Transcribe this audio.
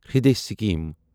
Hriday scheme